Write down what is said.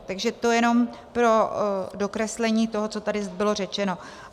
Takže to jenom pro dokreslení toho, co tady bylo řečeno.